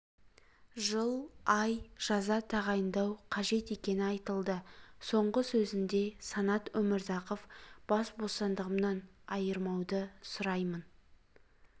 жыл ай жаза тағайындау қажет екені айтылды соңғы сөзінде санат өмірзақов бас бостандығымнан айырмауды сұраймын